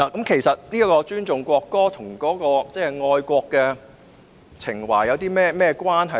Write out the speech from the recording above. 其實尊重國歌與愛國情懷有何關係？